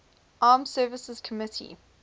armed services committee